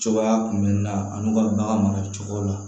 Cogoya kunbɛnni na a n'u ka bagan maracogo la